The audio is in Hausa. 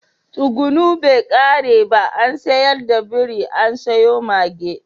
Tsuguno bai kare ba an sayar da biri an sayo mage.